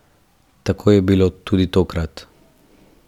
Tako je bilo tudi tokrat.